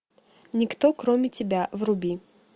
никто кроме тебя вруби